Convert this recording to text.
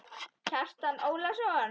Kjartan Ólason